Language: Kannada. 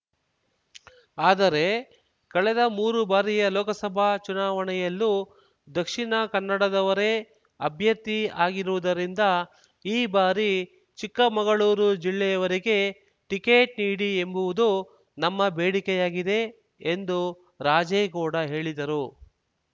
ಆದರೆ ಕಳೆದ ಮೂರು ಬಾರಿಯ ಲೋಕಸಭಾ ಚುನಾವಣೆಯಲ್ಲೂ ದಕ್ಷಿಣ ಕನ್ನಡದವರೇ ಅಭ್ಯರ್ಥಿ ಆಗಿರುವುದರಿಂದ ಈ ಬಾರಿ ಚಿಕ್ಕಮಗಳೂರು ಜಿಲ್ಲೆಯವರಿಗೆ ಟಿಕೆಟ್‌ ನೀಡಿ ಎಂಬುವುದು ನಮ್ಮ ಬೇಡಿಕೆಯಾಗಿದೆ ಎಂದು ರಾಜೇಗೌಡ ಹೇಳಿದರು